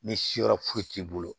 Ni siyɔrɔ foyi t'i bolo